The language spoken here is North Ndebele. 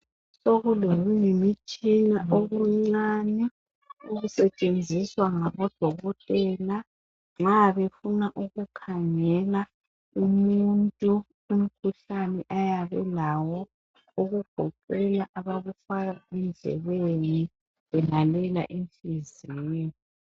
Sokuloyimitshina okuncane okusetshenziswa ngabodokotela nxa befuna ukukhangela umuntu umkhuhlane ayabelawo okugoqela abakufaka endlebeni belalela inhliziyo